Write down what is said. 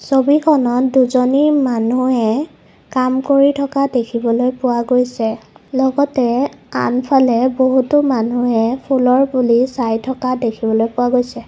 ছবিখনত দুজনী মানুহে কাম কৰি থকা দেখিবলৈ পোৱা গৈছে লগতে আনফালে বহুতো মানুহে ফুলৰ পুলি চাই থকা দেখিবলৈ পোৱা গৈছে।